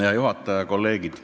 Hea juhataja!